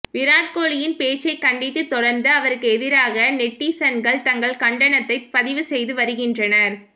விராட் கோலியின் பேச்சைக் கண்டித்து தொடர்ந்து அவருக்கு எதிராக நெட்டிசன்கள் தங்கள் கண்டனத்தைப் பதிவு செய்து வருகின்றனர்